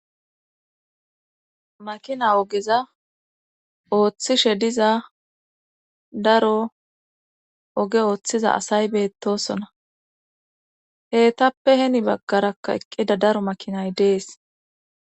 Makina ogiza ooththishe diza daro oge ooththiza asay beettosona heetappe heni baggarakka eqqida daro makinay dees